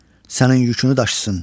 Sənin yükünü daşısın.